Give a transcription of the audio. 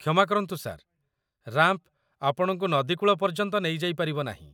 କ୍ଷମା କରନ୍ତୁ sir. Ramp ଆପଣଙ୍କୁ ନଦୀ କୂଳ ପର୍ଯ୍ୟନ୍ତ ନେଇଯାଇ ପାରିବ ନାହିଁ।